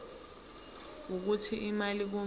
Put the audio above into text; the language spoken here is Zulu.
wokuthi imali kumele